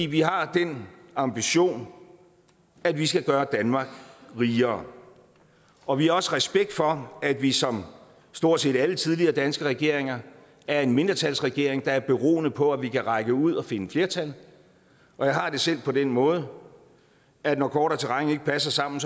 vi har den ambition at vi skal gøre danmark rigere og vi har også respekt for at vi som stort set alle tidligere danske regeringer er en mindretalsregering der er beroende på at vi kan række ud og finde flertal jeg har det selv på den måde at når kort og terræn ikke passer sammen